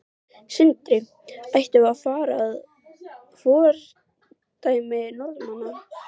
Sindri: Ættum við að fara að fordæmi Norðmanna?